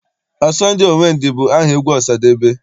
Ọsọ ndị owe ndị bụ aha egwu Ọsadebe.